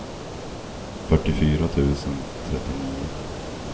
fyrtiofyra tusen trettionio